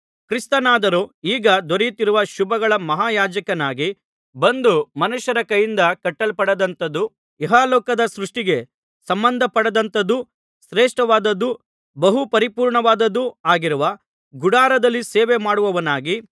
ಕ್ರಿಸ್ತನಾದರೋ ಈಗ ದೊರೆತಿರುವ ಶುಭಗಳ ಮಹಾಯಾಜಕನಾಗಿ ಬಂದು ಮನುಷ್ಯರ ಕೈಯಿಂದ ಕಟ್ಟಲ್ಪಡದಂಥದೂ ಇಹಲೋಕದ ಸೃಷ್ಟಿಗೆ ಸಂಬಂಧಪಡದಂಥದೂ ಶ್ರೇಷ್ಠವಾದುದೂ ಬಹು ಪರಿಪೂರ್ಣವಾದುದೂ ಆಗಿರುವ ಗುಡಾರದಲ್ಲಿ ಸೇವೆ ಮಾಡುವವನಾಗಿ